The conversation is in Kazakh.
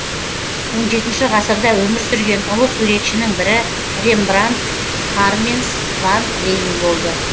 он жетінші ғасырда өмір сүрген ұлы суретшінің бірі рембрандт харменс ван рейн болды